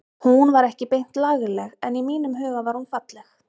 Hún var ekki beint lagleg en í mínum huga var hún falleg.